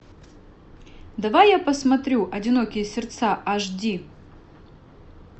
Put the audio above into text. давай я посмотрю одинокие сердца аш ди